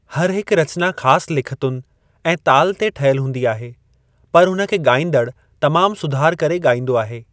हरि हिक रचना ख़ास लिखतुनि ऐं ताल ते ठयल हूंदी आहे, पर हुन खे ॻाईंदड़ तमामु सुधार करे ॻाईंदो आहे।